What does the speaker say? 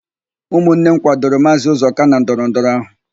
Ụmụnne m kwadoro Maazị Ụzọka na ndọrọndọrọ áhụ̀.